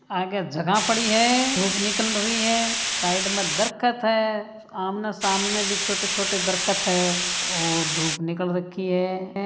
आगे जगह पड़ी है धुप निकल रही है साइड में दरख्त है आमने सामने भी छोटे-छोटे दरख्त है और धुप निकल रखी है।